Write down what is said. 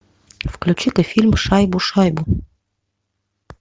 включи ка фильм шайбу шайбу